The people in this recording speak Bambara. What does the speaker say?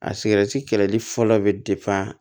A kɛlɛli fɔlɔ bɛ